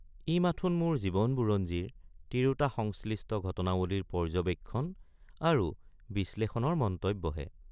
ই মাথোন মোৰ জীৱনবুৰঞ্জীৰ তিৰুতাসংশ্লিষ্ট ঘটনাৱলীৰ পৰ্য্যবেক্ষণ আৰু বিশ্লেষণৰ মন্তব্যহে।